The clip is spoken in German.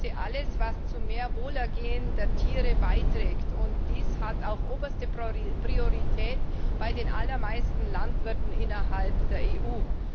Ich begrüße alles, was zu mehr Wohlergehen der Tiere beiträgt, und dies hat auch oberste Priorität bei den allermeisten Landwirten innerhalb der EU.